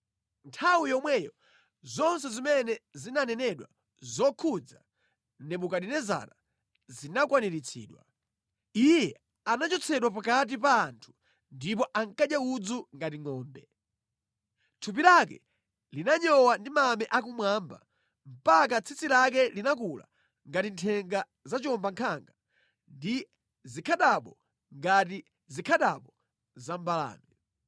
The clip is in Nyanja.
Nthawi yomweyo zonse zimene zinanenedwa zokhudza Nebukadinezara zinakwaniritsidwa. Iye anachotsedwa pakati pa anthu ndipo ankadya udzu ngati ngʼombe. Thupi lake linanyowa ndi mame akumwamba mpaka tsitsi lake linakula ngati nthenga za chiwombankhanga ndi zikhadabo ngati zikhadabo za mbalame.